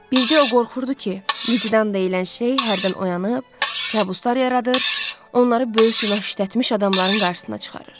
Bircə o qorxurdu ki, vicdan deyilən şey hərdən oyanıb, kabuslar yaradır, onları böyük günah işlətmiş adamların qarşısına çıxarır.